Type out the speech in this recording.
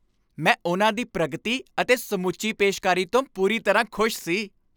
ਮੈਂ ਉਨ੍ਹਾਂ ਦੀ ਪ੍ਰਗਤੀ ਅਤੇ ਸਮੁੱਚੀ ਪੇਸ਼ਕਾਰੀ ਤੋਂ ਪੂਰੀ ਤਰ੍ਹਾਂ ਖੁਸ਼ ਸੀ।